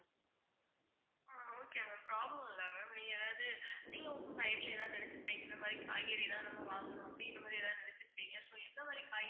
problem இல்ல ma'am நீங்க ஏதாவது நீங்க உங்க mind ல ஏதாவது நினைச்சுருப்பீங்க. இந்த மாதிரி காய்கறிலாம் நம்ப வாங்கணும் அப்படின்ற மாதிரி ஏதாவது நினைச்சுருப்பீங்க. so எந்த மாதிரி காய்